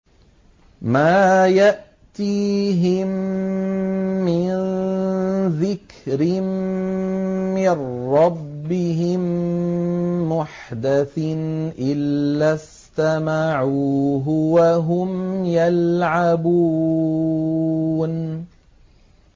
مَا يَأْتِيهِم مِّن ذِكْرٍ مِّن رَّبِّهِم مُّحْدَثٍ إِلَّا اسْتَمَعُوهُ وَهُمْ يَلْعَبُونَ